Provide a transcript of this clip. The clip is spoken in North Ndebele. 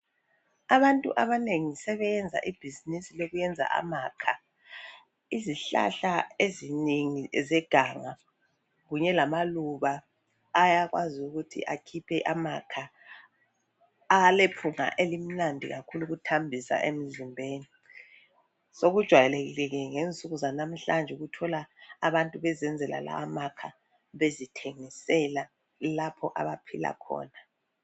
Abantu abanengi sebeyenza ibhizinisi lokuyenza amakha. Izihlahla ezinengi ezeganga kunye lamaluba ayakwazi ukuthi akhiphe amakha alephunga elimnandi kakhulu ukuthambisa emzimbeni. Sikujwayelekile ke ngensuku zanamhlanje ukuthola abantu besenzela lawamakha bezithengisela ilapho abaphila khona.